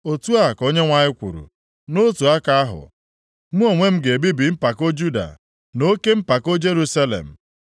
“Otu a ka Onyenwe anyị kwuru, ‘Nʼotu aka ahụ, mụ onwe m ga-ebibi mpako Juda na oke mpako Jerusalem.